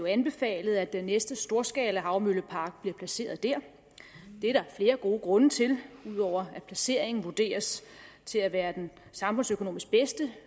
anbefalet at den næste storskalahavmøllepark bliver placeret der det er der flere gode grunde til ud over at placeringen vurderes til at være den samfundsøkonomisk bedste